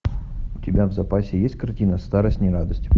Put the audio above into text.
у тебя в запасе есть картина старость не радость